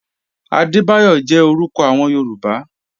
Adebayo jẹ̀ orúkọ awọn Yorùbá.